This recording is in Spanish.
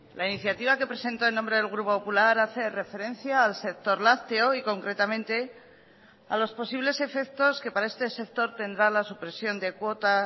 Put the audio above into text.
la iniciativa que presento en nombre del grupo popular hace referencia al sector lácteo y concretamente a los posibles efectos que para este sector tendrá la supresión de cuota